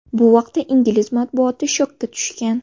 Bu vaqtda ingliz matbuoti shokka tushgan.